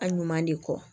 A ɲuman de kɔ